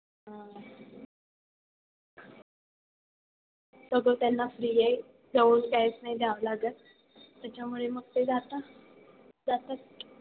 सगळं त्यांना free आहे. जाऊन cash नाही द्यावं लागत. त्याच्यामुळे मग ते जाता. जातात.